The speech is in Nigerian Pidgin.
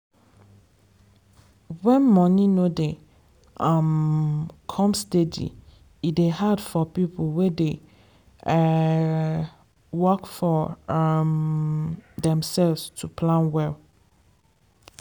when money no dey um come steady e dey hard for people wey dey um work for um themselves to plan well.